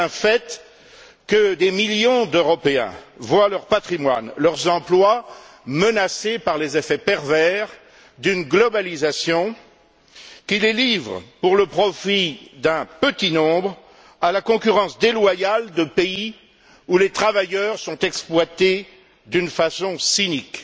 C'est un fait que des millions d'Européens voient leur patrimoine et leurs emplois menacés par les effets pervers d'une mondialisation qui les livre, pour le profit d'un petit nombre, à la concurrence déloyale de pays où les travailleurs sont exploités d'une façon cynique,